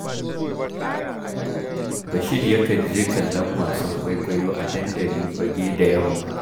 Bashir yakan je kallon wasan kwaikwayo a dandali fagge da yamma